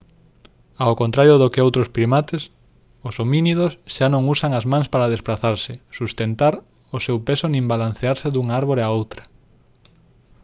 ao contrario do que outros primates os homínidos xa non usan as mans para desprazarse sustentar o seu peso nin balancearse dunha árbore a outra